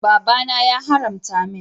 Baba na ya haramta min.